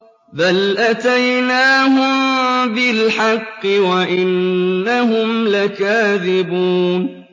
بَلْ أَتَيْنَاهُم بِالْحَقِّ وَإِنَّهُمْ لَكَاذِبُونَ